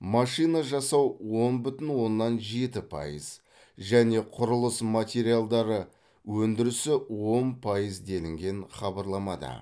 машина жасау он бүтін оннан жеті пайыз және құрылыс материалдары өндірісі он пайыз делінген хабарламада